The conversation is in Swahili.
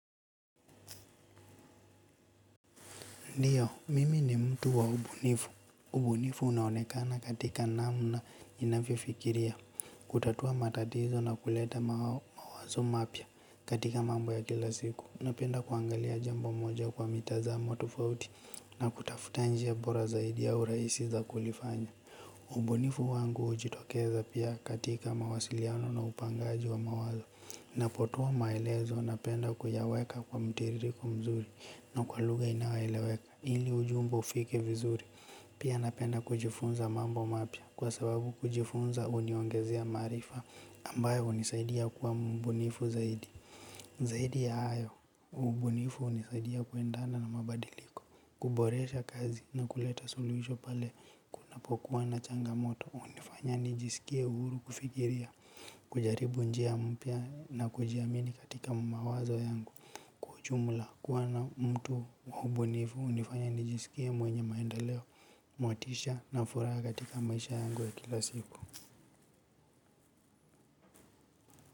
Ndiyo, mimi ni mtu wa ubunifu. Ubunifu unaonekana katika namna ninavyofikiria. Kutatua matatizo na kuleta mawazo mapya katika mambo ya kila siku. Napenda kuangalia jambo moja kwa mitazamo tufauti na kutafuta njia bora zaidi ya uraisi za kulifanya. Ubu nifu wangu ujitokeza pia katika mawasiliano na upangaji wa mawazo. Napotoa maelezo napenda kuyaweka kwa mtiririko mzuri na kwa lugha inayoeleweka. Ili ujumbo ufike vizuri. Pia napenda kujifunza mambo mapya. Kwa sababu kujifunza uniongezea maarifa. Ambayo hunisaidia kuwa mbunifu zaidi. Zaidi ya hayo. Ubunifu unisaidia kuendana na mabadiliko. Kuboresha kazi na kuleta soluisho pale. Napokuwa na changamoto. Unifanya nijisikie uhuru kufikiria. Kujaribu njia mpya na kujiamini katika mawazo yangu. Kwa ujumla kuwa na mtu wa ubunifu. Unifanya nijisikie mwenye maendeleo, mwatisha na furaha katika maisha yangu ya kila siku.